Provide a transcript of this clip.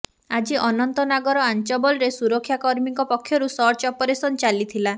ଆଜି ଅନନ୍ତନାଗର ଆଞ୍ଚବଲରେ ସୁରକ୍ଷାକର୍ମୀଙ୍କ ପକ୍ଷରୁ ସର୍ଚ୍ଚ ଅପରେସନ ଚାଲିଥିଲା